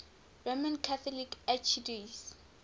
roman catholic archdiocese